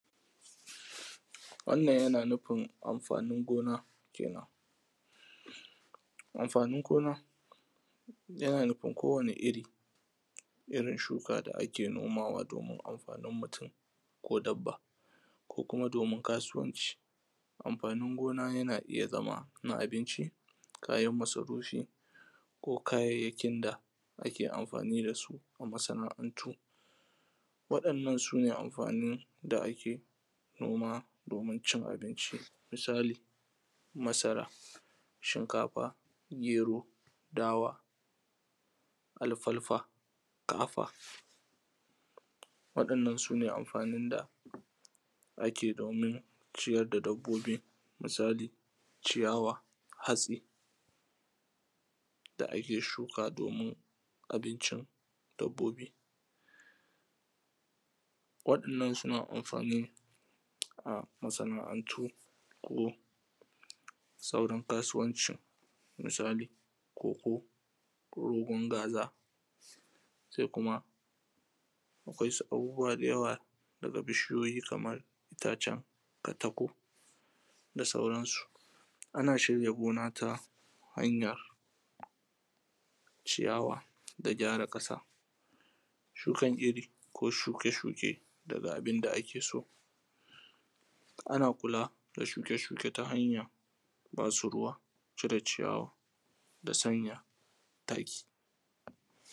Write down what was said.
Wannan yana nufin amfanin gona kenan. Amfanin gona, yana nufin kowani iri irin shuka da ake nomawa domin amfanin mutum. ko dabba. ko kuma domin kasuwanci. Amfanin gona yana iyazama na abinci, kayan masarufi ko kayayyakin da ake amfani da su, a masana’antu. Wadannan sune amfanin da ake noma domin cin abinci. misali masara, shinkafa, gero, dawa, alfalfa, kafa waɗannan sune amfaninn da ake domin ciyar da dabbobi. Misali ciyawa, hatsi da ake shuka domin abincin dabbobi. Waɗannan suna amfani a masana’antu ko sauran kasuwanci. Misali koko, ko rugun gaza se kuma akwai su abubuwa dayawa, daga bishi yoyi kamar itacen katako da sauransu Ana shirya gona ta a hanya ciyawa da gyara ƙasa, shukan iri ko shuke shuke daga abinda ake so. Ana kula da shuke shuke ta hanya basu ruwa, cire ciyawa da sanya taki.